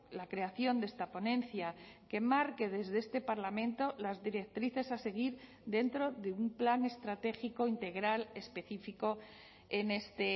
la creación de esta ponencia que marque desde este parlamento las directrices a seguir dentro de un plan estratégico integral específico en este